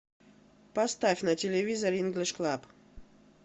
поставь на телевизоре инглиш клаб